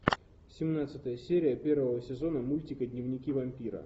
семнадцатая серия первого сезона мультика дневники вампира